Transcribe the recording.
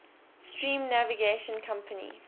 steam navigation company